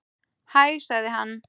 Hæ sagði hann.